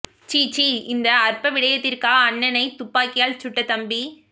சீ சீ இந்த அற்ப விடயத்திற்காக அண்ணனை துப்பாக்கியால் சுட்ட தம்பி